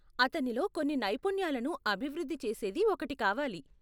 అతనిలో కొన్ని నైపుణ్యాలను అభివృద్ధి చేసేది ఒకటి కావాలి.